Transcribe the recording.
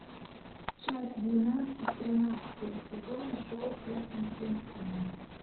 часть двенадцать тринадцатого сезона шоу сверхъестественное